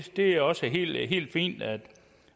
er også helt fint at